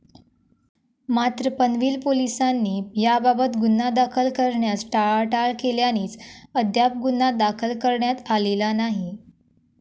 मात्र, पनवेल पोलिसांनी याबाबत गुन्हा दाखल करण्यास टाळाटाळ केल्यानेच अद्याप गुन्हा दाखल करण्यात आलेला नाही.